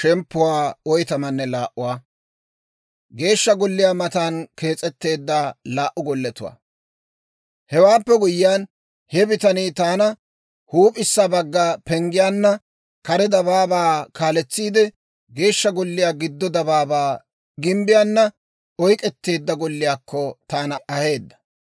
Hewaappe guyyiyaan, he bitanii taana huup'issa bagga penggiyaanna kare dabaabaa kaaletsiide Geeshsha Golliyaa giddo dabaabaa gimbbiyaana oyk'k'etteedda golliyaakko, taana aheedda.